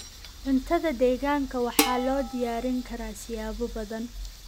Cuntada deegaanka waxaa loo diyaarin karaa siyaabo badan.